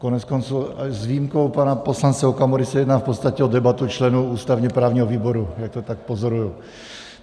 Koneckonců s výjimkou pana poslance Okamury se jedná v podstatě o debatu členů ústavně-právního výboru, jak to tak pozoruji.